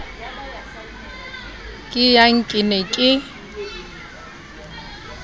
ke yang ke ne ke